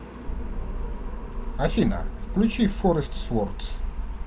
афина включи форест свордс